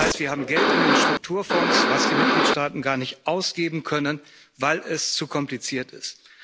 Das heißt, wir haben Geld in den Strukturfonds, das die Mitgliedstaaten gar nicht ausgeben können, weil es zu kompliziert ist.